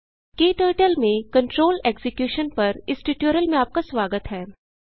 क्टर्टल में control execution पर इस ट्यूटोरियल में आपका स्वागत है